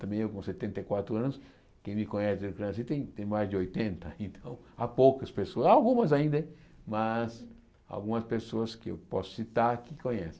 Também eu com setenta e quatro anos, quem me conhece desde que eu nasci tem tem mais de oitenta, então há poucas pessoas, algumas ainda hein, mas algumas pessoas que eu posso citar que conhece.